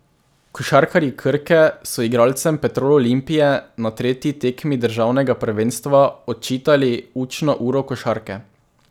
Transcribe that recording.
Košarkarji Krke so igralcem Petrol Olimpije na tretji tekmi državnega prvenstva odčitali učno uro košarke.